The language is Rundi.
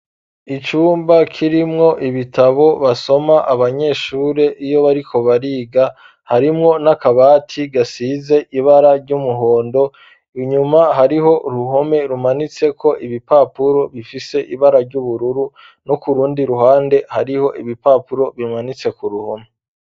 Icumba kirimwo ibitabo basoma abanyeshure iyo bariko bariga ,harimwo n'akabati gasize ibara ry'umuhondo inyuma hariho uruhome rumanitseko ibipapuro bifise ibara ry'ubururu no ku rundi ruhande hariho ibipapuro bimanitse ku ruhome.